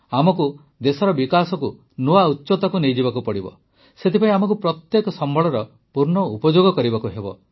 ଆମକୁ ଦେଶର ବିକାଶକୁ ନୂଆ ଉଚ୍ଚତାକୁ ନେଇଯିବାକୁ ପଡ଼ିବ ସେଥିପାଇଁ ଆମକୁ ଆମର ପ୍ରତ୍ୟେକ ସମ୍ବଳର ପୂର୍ଣ୍ଣ ଉପଯୋଗ କରିବାକୁ ହେବ